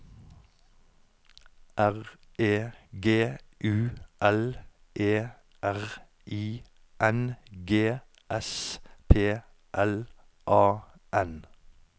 R E G U L E R I N G S P L A N